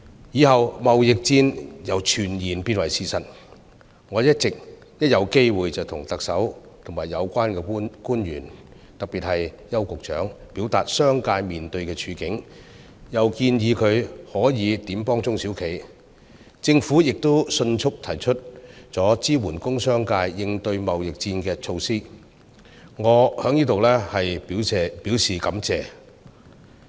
之後，貿易戰由傳言變成事實，我一有機會便向特首和有關官員，特別是向邱局長，表達商界面對的處境，又建議他可以如何幫助中小企，政府亦迅速提出支援工商界應對貿易戰的措施，我在此表示感謝。